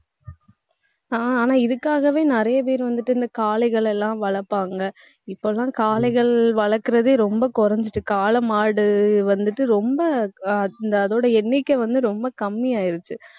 ஆஹ் ஆனா, இதுக்காகவே நிறைய பேர் வந்துட்டு இந்த காளைகள் எல்லாம் வளர்ப்பாங்க. இப்ப எல்லாம் காளைகள் வளர்க்கிறதே ரொம்ப குறைஞ்சிட்டு. காளை மாடு வந்துட்டு ரொம்ப ஆஹ் அ~ அதோட எண்ணிக்கை வந்து ரொம்ப கம்மி ஆயிருச்சு